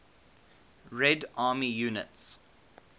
red army units